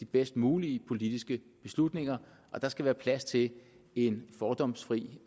bedst mulige politiske beslutninger der skal være plads til en fordomsfri